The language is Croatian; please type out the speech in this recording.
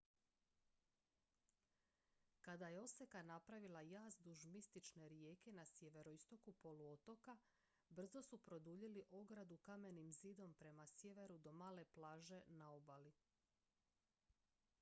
kada je oseka napravila jaz duž mistične rijeke na sjeveroistoku poluotoka brzo su produljili ogradu kamenim zidom prema sjeveru do male plaže na obali